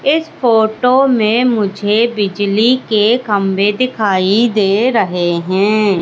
इस फोटो में मुझे बिजली के खंबे दिखाई दे रहे हैं।